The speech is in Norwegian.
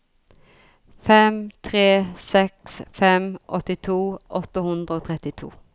fem tre seks fem åttito åtte hundre og trettito